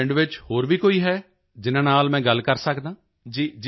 ਅੱਛਾ ਪਿੰਡ ਵਿੱਚ ਹੋਰ ਵੀ ਕੋਈ ਹੈ ਜਿਨ੍ਹਾਂ ਨਾਲ ਮੈਂ ਗੱਲ ਕਰ ਸਕਦਾ ਹਾਂ